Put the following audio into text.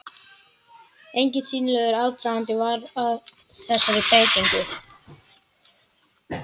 Enginn sýnilegur aðdragandi var að þessari breytingu.